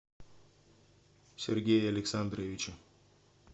сергее александровиче